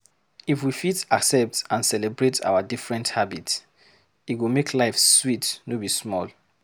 If we fit accept and celebrate our different habits, e go make life sweet no be small.